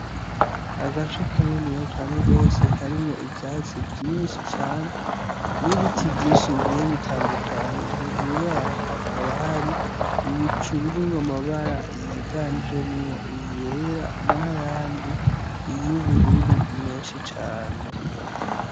Agace kaniniya gose karimwo ivyatsi vyinshi cane, n'ibiti vyinshi bigiye bitandukanye. Hejuru y'aho hakaba hari ibicu birimwo amabara yiganjemwo yera n'ayandi y'ubururu menshi cane.